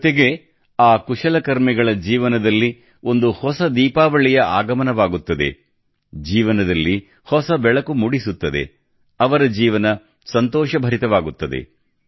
ಜೊತೆಗೆ ಆ ಕುಶಲಕರ್ಮಿಗಳ ಜೀವನದಲ್ಲಿ ಒಂದು ಹೊಸ ದೀಪಾವಳಿಯ ಆಗಮನವಾಗುತ್ತದೆ ಜೀವನದಲ್ಲಿ ಹೊಸ ಬೆಳಕು ಮೂಡಿಸುತ್ತದೆ ಅವರ ಜೀವನ ಸಂತೋಷಭರಿತವಾಗುತ್ತದೆ